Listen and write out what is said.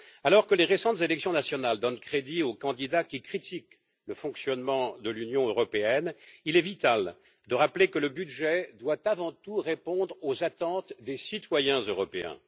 Alors que les récentes élections nationales donnent crédit aux candidats qui critiquent le fonctionnement de l'Union européenne, il est vital de rappeler que le budget doit avant tout répondre aux attentes des citoyens européens.